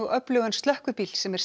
öflugan slökkvibíl sem er